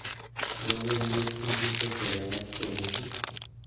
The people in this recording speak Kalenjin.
Logoiwek ingircho chelelach kolekit